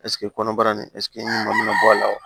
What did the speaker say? kɔnɔbara nin ɲuman bɔ a la wa